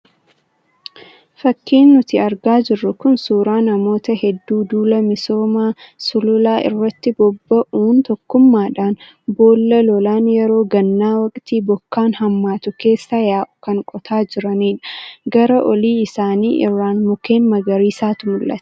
Fakiin nuti argaa jirru kun, suuraa namoota hedduu duula misooma sululaa irratti bobba'uun tokkummaadhaan boolla lolaan yeroo gannaa waqtii bokkaan hammaatu keessa yaa'u kan qotaa jiranidha. Gara olii isaanii irraan mukeen magariisatu mul'ata.